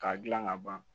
K'a dilan ka ban